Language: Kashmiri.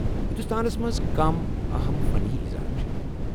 ہندوستانس منز كم اہم فنی اظہار چھِ ؟